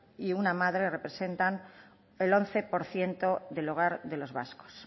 y una madre representan el once por ciento del hogar de los vascos